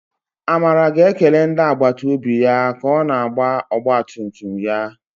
Amara ga-ekele ndị agbata obi ya ka ọ na-agba ọgba tum tum ya.